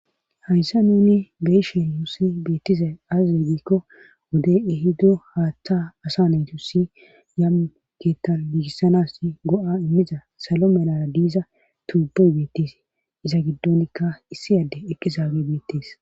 hayssan nuni be'she nusi beettizay azzegiikko wodey ehido haatta asa naytu si yamuu keetaligisanas go7a immiza salo melara diiza tuubey beettes iza giddonkka issi adde ekkisaage beettees